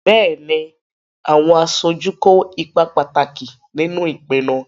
Bẹ́ẹ̀ni, àwọn aṣojú kó ipa pàtàkì nínú ìpinnu.